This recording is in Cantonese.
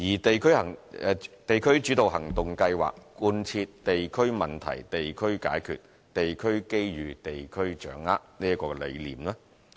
"地區主導行動計劃"貫徹"地區問題地區解決，地區機遇地區掌握"的理念。